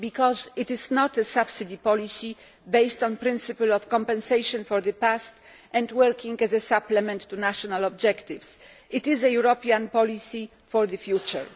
This is because it is not a subsidy policy based on the principle of compensation for the past, working as a supplement to national objectives, but rather a European policy for the future.